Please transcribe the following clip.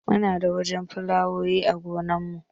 Muna da wasu filawowi a gonar mu